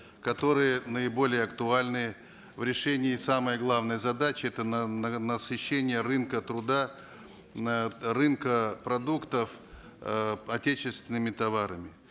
которые наиболее актуальны в решении самой главной задачи это насыщение рынка труда рынка продуктов э отечественными товарами